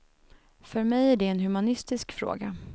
För mig är det en humanistisk fråga.